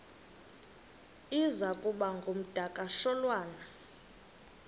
iza kuba ngumdakasholwana